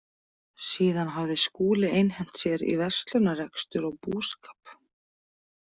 Síðan hafði Skúli einhent sér í verslunarrekstur og búskap.